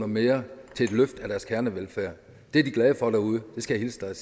mere til et løft af deres kernevelfærd det er de glade for derude det skal jeg